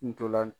Ntolan